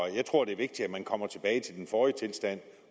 jeg tror det er vigtigt at man kommer tilbage til den forrige tilstand